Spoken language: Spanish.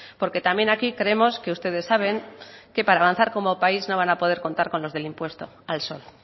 porque también aquí creemos que ustedes saben que para avanzar como país no van a poder contar con los del impuesto al sol